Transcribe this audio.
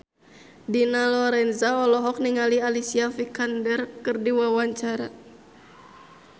Dina Lorenza olohok ningali Alicia Vikander keur diwawancara